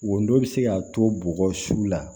Wo dɔ bɛ se ka to bɔgɔsu la